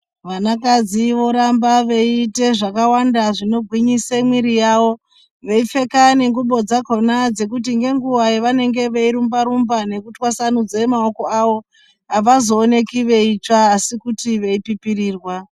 Vanakadzi voramba veiite zvakawanda zvinogwinise mwiiri yavo. Veipfaka nengubo dzakona dzekuti ngenguva yavanenge veirumba-rumba veitwasanudze maoko avo, havazooneki veitsva asi kuti veipipirirwa.